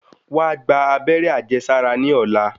Wá gba abẹ́rẹ́ àjẹsára ní ọ̀lá.